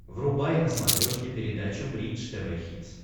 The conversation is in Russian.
врубай на смотрешке передачу бридж тв хитс